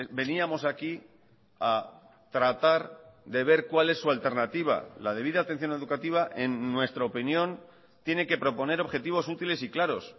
veníamos aquí a tratar de ver cuál es su alternativa la debida atención educativa en nuestra opinión tiene que proponer objetivos útiles y claros